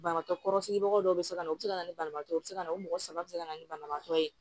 Banabaatɔ kɔrɔ sigibaga dɔw bɛ se ka na u bɛ se ka na ni banabaatɔ ye u bɛ se ka na o mɔgɔ saba bɛ se ka na ni banabaatɔ ye